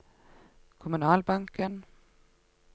kommunalbanken